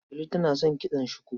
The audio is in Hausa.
Delu tana son kitson shuku.